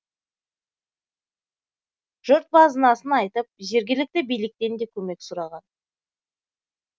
жұрт базынасын айтып жергілікті биліктен де көмек сұраған